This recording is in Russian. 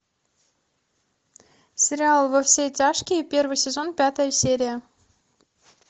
сериал во все тяжкие первый сезон пятая серия